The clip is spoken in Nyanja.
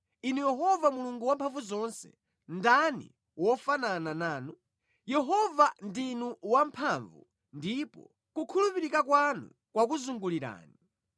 Inu Yehova Mulungu Wamphamvuzonse, ndani wofanana nanu? Yehova ndinu wamphamvu ndipo kukhulupirika kwanu kwakuzungulirani.